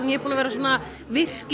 er búin að vera virk í